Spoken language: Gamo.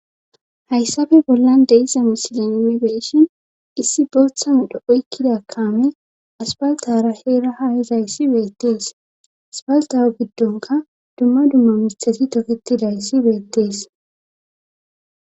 hayssafe bollan deiza misilenmibeeshin issi booththanu dho7oykkidakaame aspaltara heera hayizayssi beettees aspaltawo giddonka dumma dumma misxesi toketidayssi beettees